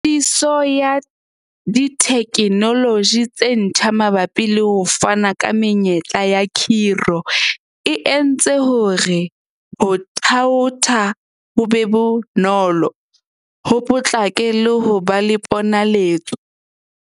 Tshebediso ya dithekenoloji tse ntjha mabapi le ho fana ka menyetla ya khiro e entse hore ho thaotha ho be bonolo, ho potlake le ho ba le ponaletso.